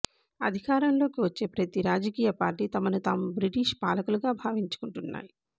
అధికారంలోకి వచ్చే ప్రతి రాజకీయ పార్టీ తమను తాము బ్రిటీష్ పాలకులుగా భావించుకుంటున్నాయి